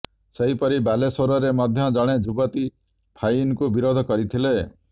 ସେହିପରି ବାଲେଶ୍ୱରରେ ମଧ୍ୟ ଜଣେ ଯୁବତୀ ଫାଇନ୍କୁ ବିରୋଧ କରିଥିଲେ